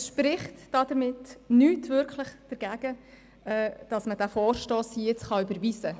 Es spricht somit nichts wirklich dagegen, diesen Vorstoss jetzt zu überweisen.